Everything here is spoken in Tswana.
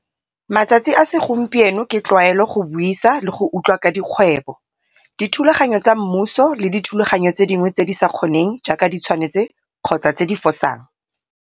Matsatsi a segompieno ke tlwaelo go buisa le go utlwa ka dikgwebo, dithulaganyo tsa mmuso le dithulaganyo tse dingwe tse di sa kgoneng jaaka di tshwanetse kgotsa tse di fosang.